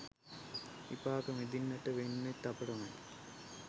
විපාක විඳින්නට වෙන්නෙත් අපටමයි.